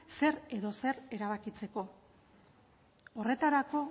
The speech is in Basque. zer edo zer erabakitzeko horretarako